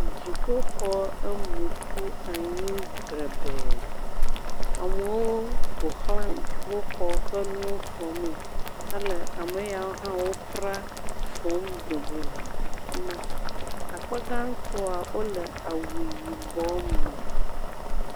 Dziƒoxɔ em ƒu anyi dzrebɛɛ. Amewo ƒo ƒu dziƒoxɔ ƒe nuwo fɔmee hele ame yawo pra fɔm dogo le afi ma. Akpa gãtɔa wole awu yibɔ me